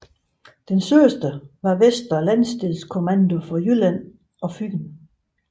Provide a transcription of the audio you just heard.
Dens søster var Vestre Landsdelskommando for Fyn og Jylland